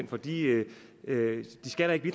fordi vi vi